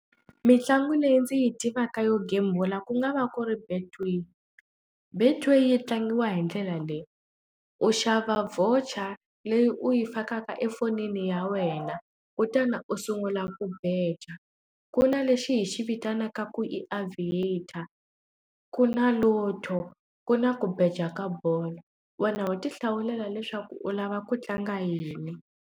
Mintlangu leyi ndzi yi tivaka yo gembula ku nga va ku ri betway betway yi tlangiwa hi ndlela leyi u xava voucher leyi u yi fakaka efonini ya wena kutani u sungula ku beja ku na lexi hi xi vitanaka ku i aviator ku na lotto ku na ku beja ka bolo wena wa ti hlawulela leswaku u lava ku tlanga yini.